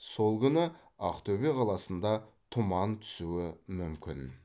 сол күні ақтөбе қаласында тұман түсуі мүмкін